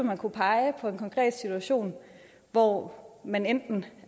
man kunne pege på en konkret situation hvor man enten